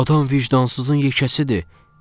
Adam vicdansızın yekəsidir,